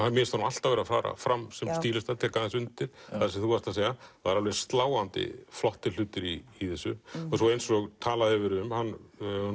mér finnst honum alltaf vera að fara fram sem stílista tek undir það sem þú ert að segja það eru sláandi flottir hlutir í þessu og eins og talað hefur verið um honum